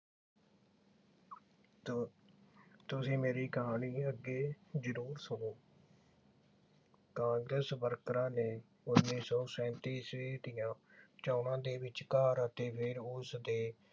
ਤੁਸੀ ਮੇਰੀ ਕਹਾਣੀ ਨੂੰ ਅੱਗੇ ਜਰੂਰ ਸੁਣੋ। ਕਾਂਗਰਸ ਵਰਕਰਾਂ ਨੇ ਉਨੀ ਸੌ ਸੈਂਤੀ ਈਸਵੀ ਦੀਆਂ ਚੋਣਾਂ ਦੇ ਵਿਚਕਾਰ ਅਤੇ ਫਿਰ ਉਸਦੇ